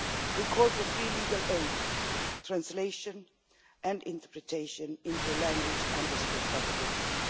We call for free legal aid, translation and interpretation into a language understood by the victim